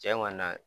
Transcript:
Tiɲɛ ŋɔni na